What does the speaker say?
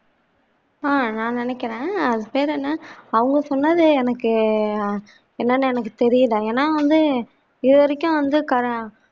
ஆஹ் நான் நினைக்கிறேன் பேர் என்ன அவங்க சொன்னதே எனக்கு எர் என்னன்னே தெரியல ஏனா வந்து இதுவரைக்கும் வந்து